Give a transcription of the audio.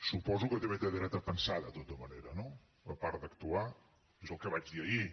suposo que també té dret a pensar de tota manera no a part d’actuar és el que vaig dir ahir